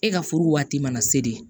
E ka furu waati mana se de